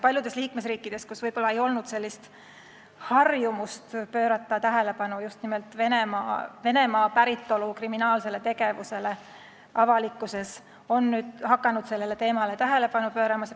Paljudes liikmesriikides, kus varem võib-olla ei olnud harjumust pöörata avalikkuses tähelepanu just nimelt Venemaa päritolu kriminaalsele tegevusele, on nüüd hakatud sellele tähelepanu pöörama.